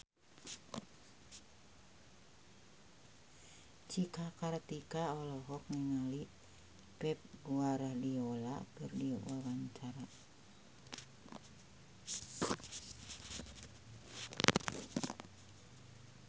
Cika Kartika olohok ningali Pep Guardiola keur diwawancara